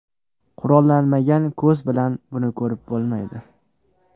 Qurollanmagan ko‘z bilan buni ko‘rib bo‘lmaydi.